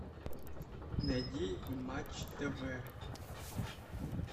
найди матч тв